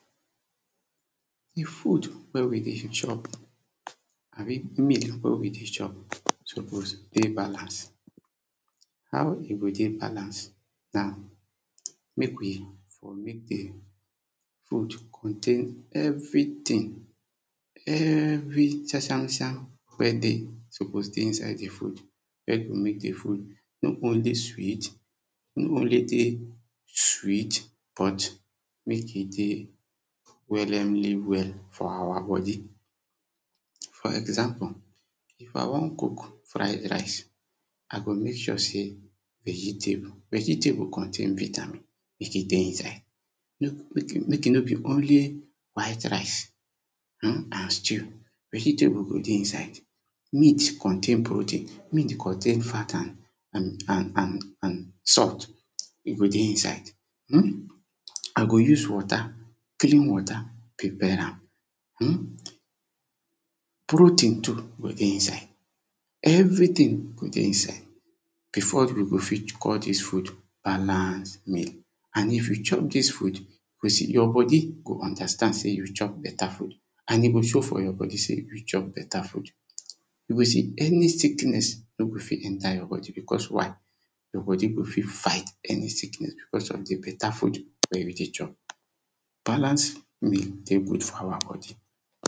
Di food wen we dey chop, abi meal wen we dey chop suppose dey balance. How e go dey balance? Na make we for make di food contain everything, every sam sam sam wey dey suppose dey inside di food, wen go make di food no only sweet, no only dey sweet, but make e dey wellemly well for our body. For example if I wan cook fried rice, I go make sure sey, vegetable, vegetable contain vitamin, make e dey inside make e no be only white rice um and stew, vegetable go dey inside, meat contain protein, meat contain fat and and and and salt, e go dey inside. um I go use water, clean water prepare am, um protein too go dey inside everything go dey inside. Before we go fit call dis food, balance meal and if we chop dis food, you see, your body go understand sey you chop better food and e go show for your body sey you chop better food, you go see any sickness no go fit enter your body, because why, your body go fit fight any sickness because of di better food wey you dey chop. Balance meal dey good for our body.